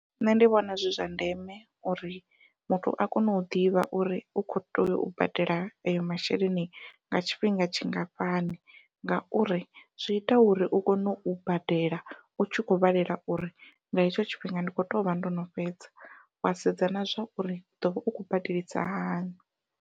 Nṋe ndi vhona zwi zwa ndeme uri muthu a kone u ḓivha uri u kho tea u badela ayo masheleni nga tshifhinga tshingafhani, ngauri zwi ita uri u kone u badela u tshi kho vhalela uri nga hetsho tshifhinga ndi kho tovha ndo no fhedza wa sedza na zwa uri u ḓovha u khou badelisa hani.